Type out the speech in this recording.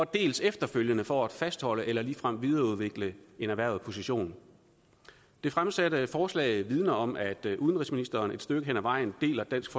dels efterfølgende for at fastholde eller ligefrem videreudvikle en erhvervet position det fremsatte forslag vidner om at udenrigsministeren et stykke hen ad vejen deler dansk